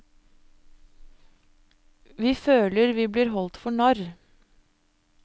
Vi føler vi blir holdt for narr.